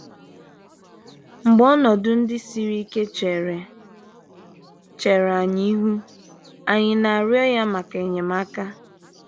Mgbe ọnọdụ ndị siri ike chere chere anyị ihu, ànyị na - arịọ ya maka enyemaka?